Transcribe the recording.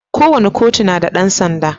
Kowace kotu na da dan sanda.